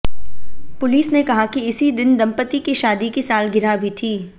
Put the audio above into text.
police ने कहा कि इसी दिन दंपति की शादी की सालगिरह भी थी